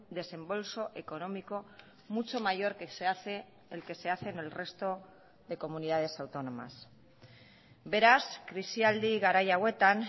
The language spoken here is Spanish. desembolso económico mucho mayor que se hace el que se hace en el resto de comunidades autónomas beraz krisialdi garai hauetan